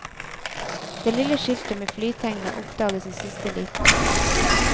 Det lille skiltet med flytegnet oppdages i siste liten.